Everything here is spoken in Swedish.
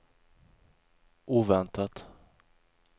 oväntat